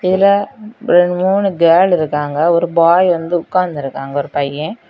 இதுல ஒரு மூணு கேர்ள் இருக்காங்க ஒரு பாய் வந்து உட்காந்திருக்காங்க ஒரு பையேன்.